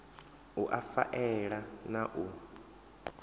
u a faela na u